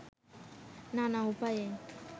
নানা উপায়ে